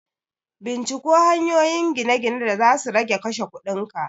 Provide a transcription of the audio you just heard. Binciko hanyoyin gine-gine da zasu rage kashe kudin ka!